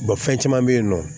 fɛn caman be yen nɔ